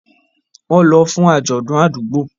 Wọ́n lọ fún àjọ̀dún àdúgbò.